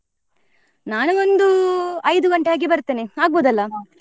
ನಾನು ಒಂದು ಐದು ಗಂಟೆ ಹಾಗೇ ಬರ್ತೇನೆ ಆಗ್ಬಹುದಲ್ಲಾ?